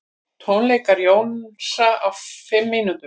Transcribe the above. Tónleikar Jónsa á fimm mínútum